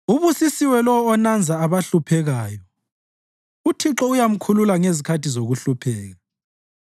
Ubusisiwe lowo onanza abahluphekayo; uThixo uyamkhulula ngezikhathi zokuhlupheka.